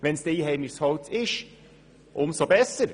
Ist es jedoch einheimisches Holz, umso besser!